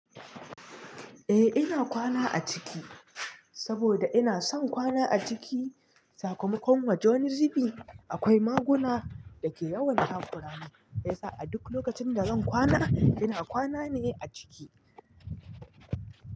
Eh ina kwana a ciki saboda ina son kwana a ciki. Sakamakon wajen zibi akwai maguna da ke yawan takura mai sa a duk lokacin da zan kwana ina kwana ne a ciki.